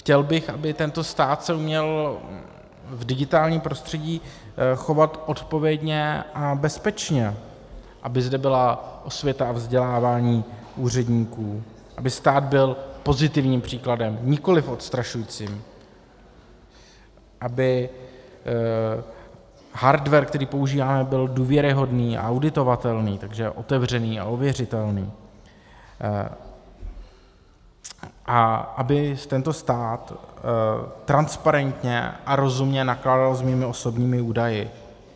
Chtěl bych, aby tento stát se uměl v digitálním prostředí chovat odpovědně a bezpečně, aby zde byla osvěta a vzdělávání úředníků, aby stát byl pozitivním příkladem, nikoliv odstrašujícím, aby hardware, který používáme, byl důvěryhodný a auditovatelný, takže otevřený a ověřitelný, a aby tento stát transparentně a rozumně nakládal s mými osobními údaji.